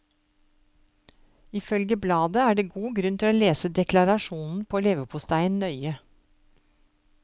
Ifølge bladet er det god grunn til å lese deklarasjonen på leverposteien nøye.